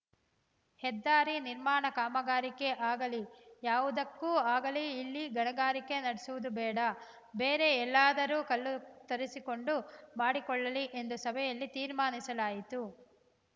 ಹೆದ್ದಾರಿ ನಿರ್ಮಾಣ ಕಾಮಗಾರಿಗೆ ಆಗಲಿ ಯಾವುದಕ್ಕೇ ಆಗಲಿ ಇಲ್ಲಿ ಗಣಿಗಾರಿಕೆ ನಡೆಸುವುದು ಬೇಡ ಬೇರೆ ಎಲ್ಲಿಯಾದರೂ ಕಲ್ಲು ತರಿಸಿಕೊಂಡು ಮಾಡಿಕೊಳ್ಳಲಿ ಎಂದು ಸಭೆಯಲ್ಲಿ ತೀರ್ಮಾನಿಸಲಾಯಿತು